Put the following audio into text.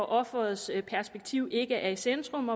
offerets perspektiv ikke er i centrum